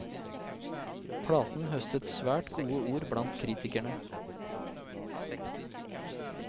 Platen høstet svært gode ord blant kritikerne.